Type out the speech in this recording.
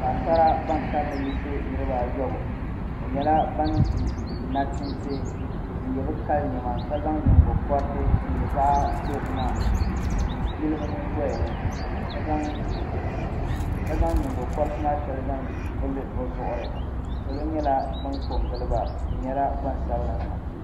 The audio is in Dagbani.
Paɣasara ban kanli yiɣisi niraba ayɔbu bi nyɛla ban di nachiinsi n yɛ bi kali niɛma ka zaŋ nyingokoriti din nyɛ zaɣ dozima n yili bi nyingoya ni ka zaŋ nyingokoriti maa shɛli zaŋ vuli bi zuɣuri salo nyɛla ban ko n giliba bi nyɛla Gbansabila nima